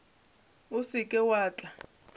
o se ke wa tla